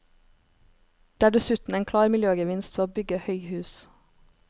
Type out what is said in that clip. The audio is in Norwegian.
Det er dessuten en klar miljøgevinst ved å bygge høyhus.